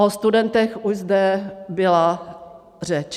O studentech už zde byla řeč.